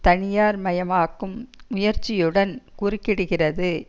தனியார் மயமாக்கும் முயற்சியுடன் குறுக்கிடுகிறது